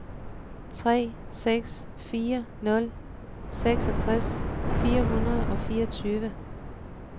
tre seks fire nul seksogtres fire hundrede og fireogtyve